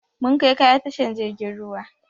Mun kai kaya tashan jirgin ruwa